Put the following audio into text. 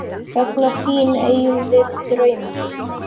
Vegna þín eigum við drauma.